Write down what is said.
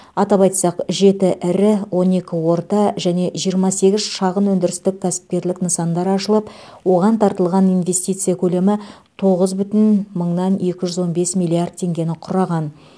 атап айтсақ жеті ірі он екі орта және жиырма сегіз шағын өндірістік кәсіпкерлік нысандар ашылып оған тартылған инвестиция көлемі тоғыз бүтін мыңнан екі жүз он бес миллиард теңгені құраған